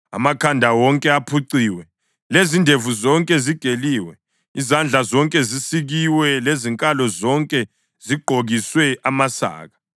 Amakhanda wonke aphuciwe lezindevu zonke zigeliwe; izandla zonke zisikiwe lezinkalo zonke zigqokiswe amasaka.